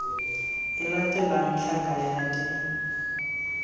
e latelang tlhaka ya d